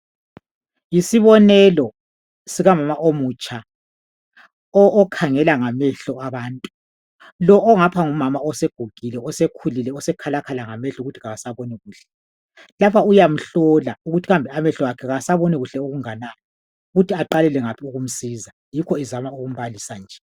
Yisibonelo sikamama omutsha okhangela ngamehlo abantu lo ongapha ngumama osegugile osekhalakhala ngamehlo ukuthi awasaboni kuhle lapha uyamhlola ukuthi amehlo akhe awasaboni kuhle okunganani ukuthi aqalele ngaphi ukusiza